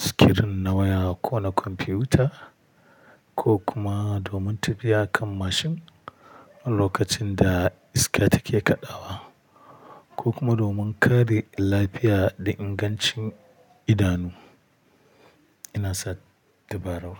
sikirin na waya ko na kwamfiyuta, ko kuma domin tafiya kan mashin lokacin da iska take kaɗawa, ko kuma domin kare lafiya da ingancin idanu. Ina sa tabarau.